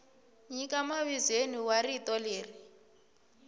nyika mavizweni wa rito leri